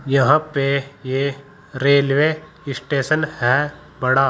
यहां पे यह रेलवे स्टेशन है बड़ा।